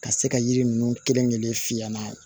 Ka se ka yiri ninnu kelen kelen fiyɛ n'a ye